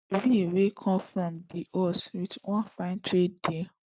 we wan come from di us wit one fine trade deal